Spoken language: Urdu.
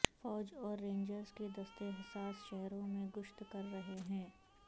فوج اور رینجرز کے دستے حساس شہروں میں گشت کر رہے ہیں